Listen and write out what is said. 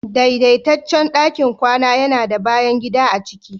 daidaitaccen ɗakin kwana yana da bayan gida a ciki